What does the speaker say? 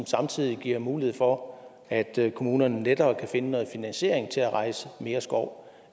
samtidig giver mulighed for at kommunerne lettere kan finde en finansiering til at rejse mere skov